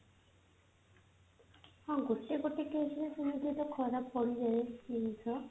ହଁ ଗୋଟେ ଗୋଟେ case ରେ ସେମିତି ତ ଖରାପ ପଡିଯାଏ ଜିନିଷ